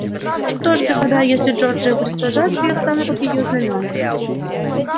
что ж господа если джорджия будет сражаться я встану под её знамёна